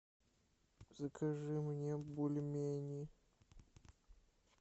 закажи мне бульмени